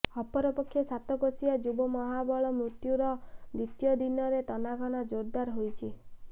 ଅପରପକ୍ଷେ ସାତକୋଶିଆ ଯୁବ ମହାବଳ ମୃତ୍ୟୁର ଦ୍ବିତୀୟ ଦିନ ତନାଘନା ଜୋରଦାର ହୋଇଛି